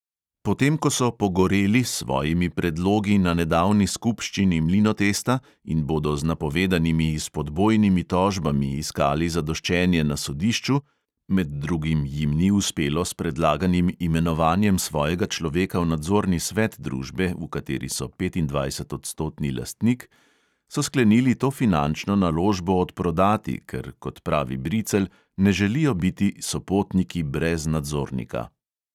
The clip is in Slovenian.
Potem ko so "pogoreli" s svojimi predlogi na nedavni skupščini mlinotesta in bodo z napovedanimi izpodbojnimi tožbami iskali zadoščenje na sodišču – med drugim jim ni uspelo s predlaganim imenovanjem svojega človeka v nadzorni svet družbe, v kateri so petindvajsetodstotni lastnik – so sklenili to finančno naložbo odprodati, ker, kot pravi bricelj, ne želijo biti "sopotniki brez nadzornika".